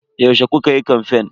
Yaushe kukayi kamfen?